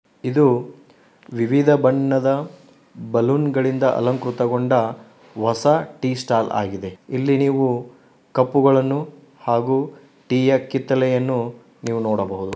ಇದು ವಿವಿಧ ಬಣ್ಣದ ಬಲೂನ್ ಗಳಿಂದ ಅಲಂಕೃತಗೊಂಡ ಹೊಸ ಟೀ ಸ್ಟೈಲ್ ಆಗಿದೆ. ಇಲ್ಲಿ ನೀವು ಕಪ್ಪು ಗಳನ್ನು ಹಾಗೂ ಟಿ ಯ ಕಿತ್ತಳೆಯನ್ನು ನೀವು ನೋಡಬಹುದು.